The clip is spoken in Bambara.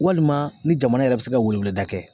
Walima ni jamana yɛrɛ bɛ se ka weleweleda kɛ